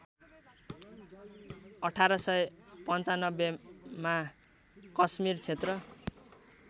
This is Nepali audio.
१८९५मा कश्मिर क्षेत्र